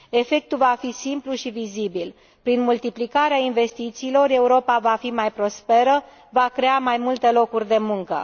Efectul va fi simplu și vizibil prin multiplicarea investițiilor, Europa va fi mai prosperă și va crea mai multe locuri de muncă.